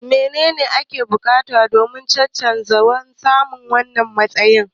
Menene ake bukata domin cancantar samun wannan matsayi?